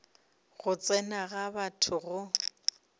go tsena ga batho go